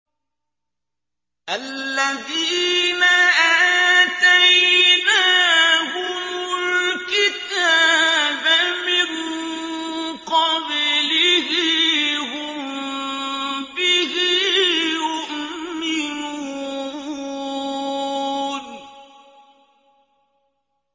الَّذِينَ آتَيْنَاهُمُ الْكِتَابَ مِن قَبْلِهِ هُم بِهِ يُؤْمِنُونَ